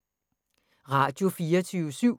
Radio24syv